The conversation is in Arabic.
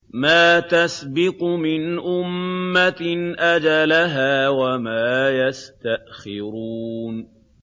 مَا تَسْبِقُ مِنْ أُمَّةٍ أَجَلَهَا وَمَا يَسْتَأْخِرُونَ